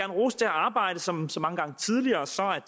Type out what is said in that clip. rose det arbejde og som så mange gange tidligere